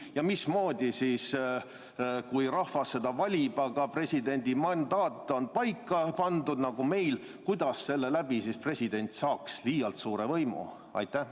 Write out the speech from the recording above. Ja mismoodi siis, kui rahvas presidendi valib, aga presidendi mandaat on paika pandud nagu meil, president saaks liialt suure võimu?